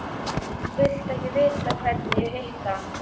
Viltu ekki vita hvernig ég hitti hann?